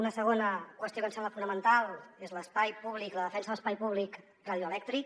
una segona qüestió que ens sembla fonamental és l’espai públic la defensa de l’espai públic radioelèctric